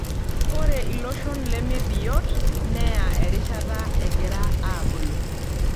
Ore iloshon leme biot neya erishata egira aabulu.